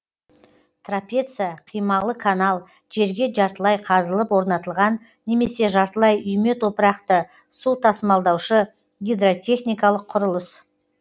трапеция қималы канал жерге жартылай қазылып орнатылған немесе жартылай үйме топырақты су тасымалдаушы гидротехникалық құрылыс